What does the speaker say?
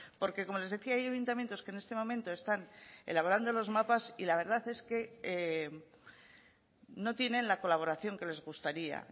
porque como les decía hay ayuntamientos que en este momento están elaborando los mapas y la verdad es que no tienen la colaboración que les gustaría